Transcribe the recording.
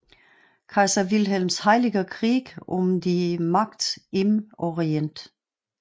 Kaiser Wilhelms Heiliger Krieg um die Macht im Orient